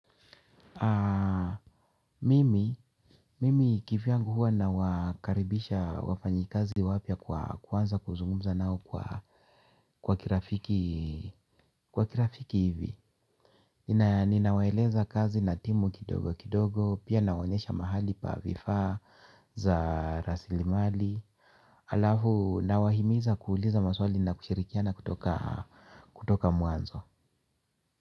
Mimi kivyangu huwa nawakaribisha wafanyikazi wapya kuanza kuzungumza nao kwa kirafiki hivi. Ninawaeleza kazi na timu kidogo kidogo pia nawaonyesha mahali pa vifaa za rasilimali. Alafu nawahimiza kuuliza maswali na kushirikiana kutoka mwanzo.